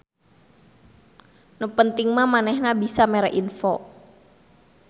Nu penting mah manehna bisa mere info.